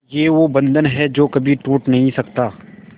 ये वो बंधन है जो कभी टूट नही सकता